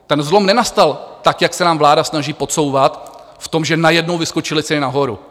Ten zlom nenastal tak, jak se nám vláda snaží podsouvat, v tom, že najednou vyskočily ceny nahoru.